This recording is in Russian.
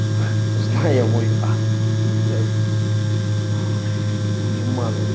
ха узнали мой адрес ну блядь ой дуреманы